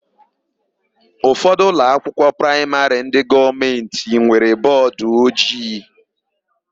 Ụfọdụ ụlọakwụkwọ praịmarị ndị gọọmentị nwere bọọdụojii.